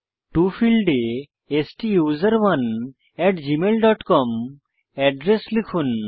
টো ফীল্ডে স্টুসেরনে gmailcom address লিখুন